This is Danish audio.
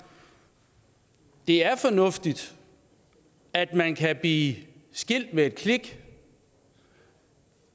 det er fornuftigt at man kan blive skilt ved et klik